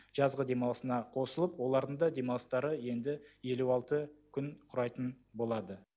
жазғы демалысына қосылып олардың да демалыстары енді елу алты күн құрайтын болады